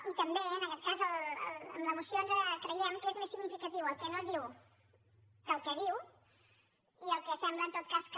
i també en aquest cas a la moció creiem que és més significatiu el que no diu que el que diu i el que sembla en tot cas que